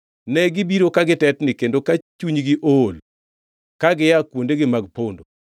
Negibiro ka gitetni; kendo ka chunygi ool, ka gia kuondegi mag pondo.